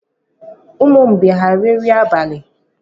Umu mgbei ha rie nri abalị a?